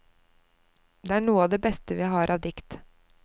Det er noe av det beste vi har av dikt.